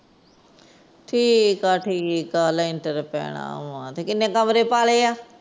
ਠੀਕ ਏ ਠੀਕ ਏ, ਲੈਂਟਰ ਪੈਣਾ ਆ ਤੇ ਕਿੰਨੇ ਕਮਰੇ ਪਾ ਲਏ ਆ?